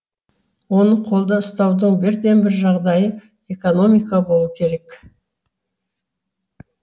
оны қолда ұстаудың бірден бір жағдайы экономика болу керек